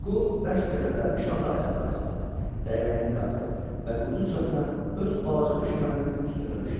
Huqo bərk qəzəblənmiş halda ayağa qalxdı, dəynəyini qapdı və quduzcasına öz balaca düşməninin üstünə düşdü.